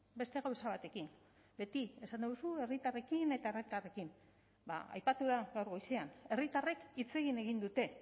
beste gauza batekin beti esaten duzu herritarrekin eta herritarrekin ba aipatu da gaur goizean herritarrek hitz egin egin dute